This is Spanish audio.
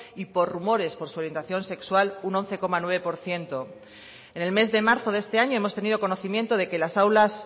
y por rumores por su orientación sexual un once coma nueve por ciento en el mes de marzo de este año hemos tenido conocimiento de que las aulas